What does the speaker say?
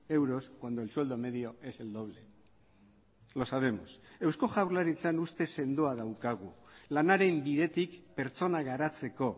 euros cuando el sueldo medio es el doble los sabemos eusko jaurlaritzan ustez sendoa daukagu lanaren bidetik pertsona garatzeko